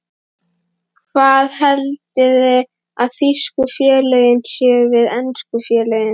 Hvað haldiði að þýsku félögin segi við ensku félögin?